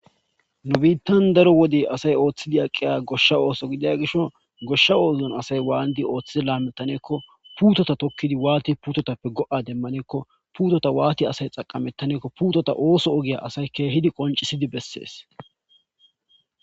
nu biittan daro wode asay ooththidi aqqiya goshsha ooso gidiya gisho goshsha oozon asay waandi ooththidi laamettaneekko puutota tokkidi waati putotappe go7a demmaneekko puutota waati asay xaqamettaneekko puutota ooso ogiya asay keehidi qoncisidi bessees